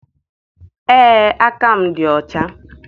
Ee, aka m dị ọcha